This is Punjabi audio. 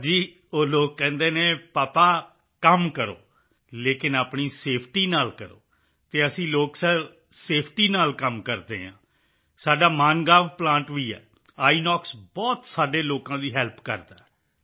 ਸਰ ਜੀ ਉਹ ਲੋਕ ਕਹਿੰਦੇ ਹਨ ਪਾਪਾ ਕੰਮ ਕਰੋ ਲੇਕਿਨ ਆਪਣੀ ਸੇਫਟੀ ਨਾਲ ਕਰੋ ਅਤੇ ਅਸੀਂ ਲੋਕ ਸਰ ਸੇਫਟੀ ਨਾਲ ਕੰਮ ਕਰਦੇ ਹਾਂ ਸਾਡਾ ਮਾਨਗਾਂਵ ਪਲਾਂਟ ਵੀ ਹੈ ਆਈਐਨਓਐਕਸ ਬਹੁਤ ਸਾਡੇ ਲੋਕਾਂ ਦੀ ਹੈਲਪ ਕਰਦਾ ਹੈ